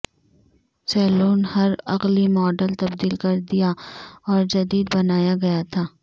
سیلون ہر اگلی ماڈل تبدیل کر دیا اور جدید بنایا گیا تھا